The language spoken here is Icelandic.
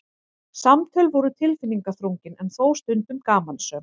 Samtöl voru tilfinningaþrungin en þó stundum gamansöm.